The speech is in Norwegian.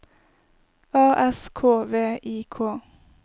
A S K V I K